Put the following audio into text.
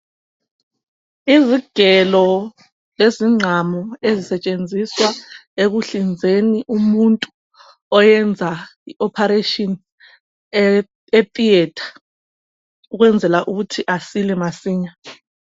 Izigelo, lezingqamu ezisetshenziswa ekuhlinzeni umuntu. Oyenza i-operation etheatre, ukwenzela ukuthi asile masinya.